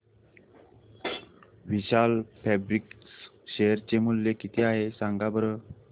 विशाल fabrics share चे मूल्य किती आहे सांगा बरं